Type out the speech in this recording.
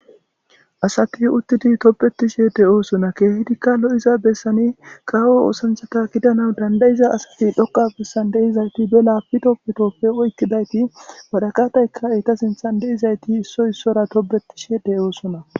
Asati uttidi tobbetirshe de'osona kehidikka lo'iza bessan kawo oththanchata giddana bessiza asati be laptoppe oyqidda asati waraqataykka etta sintha de'izaytti issoy issuwara tobbetishe de'osona.